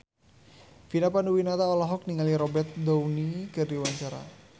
Vina Panduwinata olohok ningali Robert Downey keur diwawancara